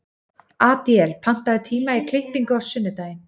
Adíel, pantaðu tíma í klippingu á sunnudaginn.